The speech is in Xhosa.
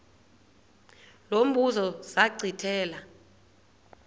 lo mbuzo zachithela